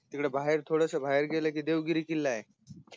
तिकडे बाहेर थोडेसे बाहेर गेलं की देवगिरी किल्लाय है